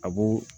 A b'o